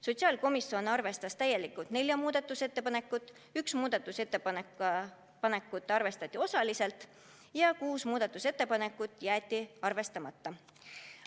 Sotsiaalkomisjon arvestas täielikult nelja muudatusettepanekut, üht muudatusettepanekut arvestati osaliselt ja kuus muudatusettepanekut jäeti arvestamata.